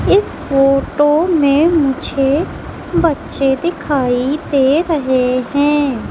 इस फोटो में मुझे बच्चे दिखाई दे रहे हैं।